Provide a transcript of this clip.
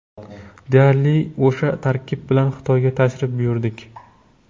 Deyarli o‘sha tarkib bilan Xitoyga tashrif buyurdik.